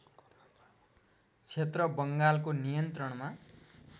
क्षेत्र बङ्गालको नियन्त्रणमा